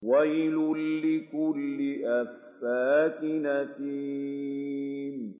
وَيْلٌ لِّكُلِّ أَفَّاكٍ أَثِيمٍ